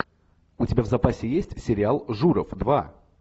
у тебя в запасе есть сериал журов два